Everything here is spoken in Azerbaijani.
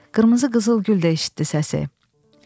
Qırmızı qızıl gül də eşitdi səsi.